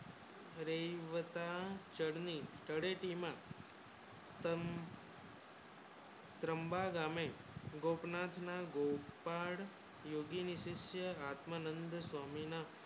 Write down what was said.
વહીવટ ચડની તળેટી મી તમ ત્રં~ ત્રંબા ગામે ગોપનાથ ના ગોપાલ યોગી ને શિષ્ય આત્મરંડ સ્વામી ના